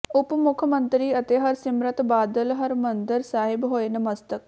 ਉਪ ਮੁੱਖ ਮੰਤਰੀ ਅਤੇ ਹਰਸਿਮਰਤ ਬਾਦਲ ਹਰਿਮੰਦਰ ਸਾਹਿਬ ਹੋਏ ਨਤਮਸਤਕ